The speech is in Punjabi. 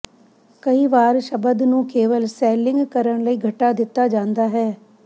ਕਈ ਵਾਰ ਸ਼ਬਦ ਨੂੰ ਕੇਵਲ ਸੈਲਿੰਗ ਕਰਨ ਲਈ ਘਟਾ ਦਿੱਤਾ ਜਾਂਦਾ ਹੈ